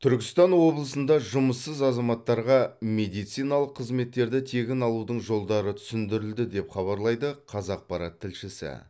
түркістан облысында жұмыссыз азаматтарға медициналық қызеттерді тегін алудың жолдары түсіндірілді деп хабарлайды қазақпарат тілшісі